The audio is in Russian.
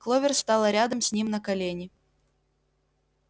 кловер стала рядом с ним на колени